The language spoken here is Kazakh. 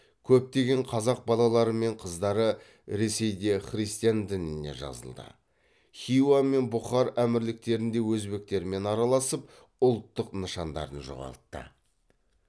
көптеген қазақ балалары мен қыздары ресейде христиан дініне жазылды хиуа мен бұхар әмірліктерінде өзбектермен араласып ұлттық нышандарын жоғалтты